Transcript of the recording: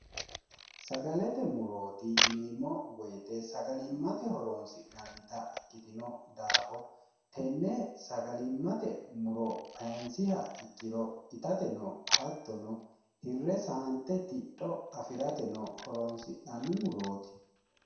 sagalete murooti yineemmo woyite sagalimmate horoonsi'nannita ikkitino daafo tenne sagalimmate muro kayinsiha ikkiro itate no hattono hirre saante tidho afi'rate no horoonsi'nanni murooti